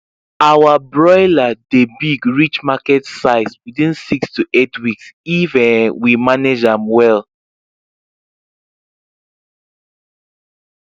our broiler dey big reach market size within six to eight weeks if um we manage am well